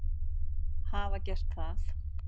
hafa gert það.